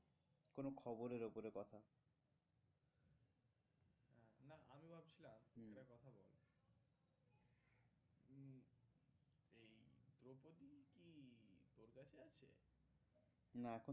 না এখন